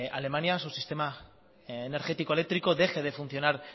alemania su sistema energético eléctrico deje de funcionar